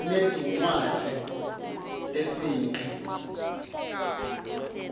sinetinwadzz tesinqi